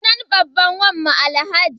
Sunan babban wanmu Alhaji.